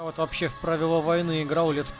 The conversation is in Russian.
ну вот вообще в правила войны играл лет